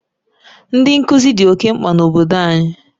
Ndị nkuzi dị oke mkpa na obodo anyị.